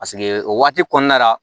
Paseke o waati kɔnɔna la